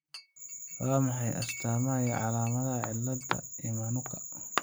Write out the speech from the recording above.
Waa maxay astaamaha iyo calaamadaha cillada Emanuka?